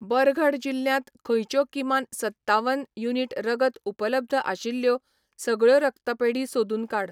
बरगढ़ जिल्ल्यांत खंयच्यो किमान सत्तावन युनिट रगत उपलब्ध आशिल्ल्यो सगळ्यो रक्तपेढी सोदून काड.